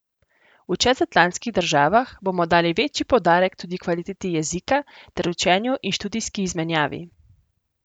V čezatlantskih državah bomo dali večji poudarek tudi kvaliteti jezika ter učenju in študijski izmenjavi.